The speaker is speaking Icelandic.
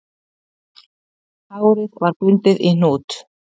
Hárið var bundið í hnút